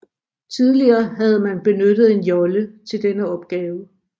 Tidligere havde man benyttet en jolle til denne opgave